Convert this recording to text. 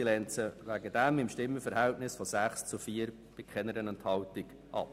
Sie lehnt sie deswegen mit einem Stimmenverhältnis von 6 Nein- zu 4 Ja-Stimmen bei keiner Enthaltung ab.